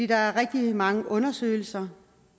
der er rigtig mange undersøgelser